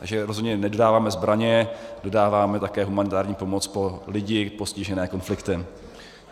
Takže rozhodně nedodáváme zbraně, dodáváme také humanitární pomoc pro lidi postižené konfliktem.